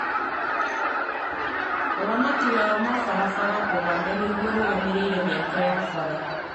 Ũramati wa mabara Ũganda nĩguo ũrũgamĩrĩire mĩako ya bara